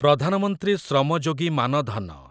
ପ୍ରଧାନ ମନ୍ତ୍ରୀ ଶ୍ରମ ଯୋଗୀ ମାନ ଧନ